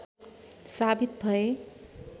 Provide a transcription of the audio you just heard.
साबित भए